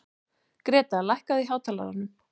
Greta, lækkaðu í hátalaranum.